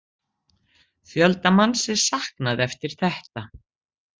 Fjölda manns er saknað eftir þetta